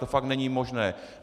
To fakt není možné.